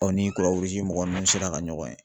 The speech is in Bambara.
ni mɔgɔ ninnu sera ka ɲɔgɔn ye